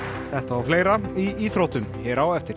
þetta og fleira í íþróttum hér á eftir